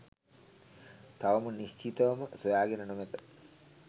තවම නිශ්චිතවම සොයාගෙන නොමැත.